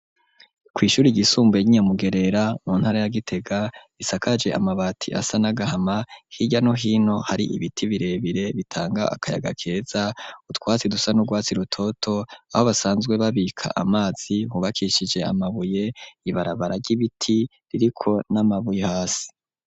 Kw'ishure ryisumbuye y'inyamugerera mu ntara ya gitega isakaje amabati asa n'agahama hiya no hino hari ibiti birebire bitanga akayaga keza utwatsi dusa n'urwatsi rutoto aho basanzwe babika amazi hubakishije amabuye ibarabara ry'ibiti ririko n'amabuye hasi.